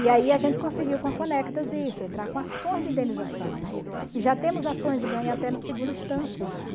E aí a gente conseguiu com a Conectas isso, entrar com ações de indenização e já temos ações ganhas até na segunda instância já.